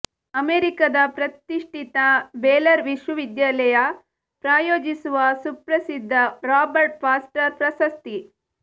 ಅಮೆರಿಕದ ಪ್ರತಿಷ್ಠಿತ ಬೇಲರ್ ವಿಶ್ವವಿದ್ಯಾಲಯ ಪ್ರಾಯೋಜಿಸುವ ಸುಪ್ರಸಿದ್ಧ ರಾಬರ್ಟ್ ಫಾಸ್ಟರ್ ಪ್ರಶಸ್ತಿ